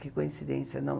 Que coincidência, não?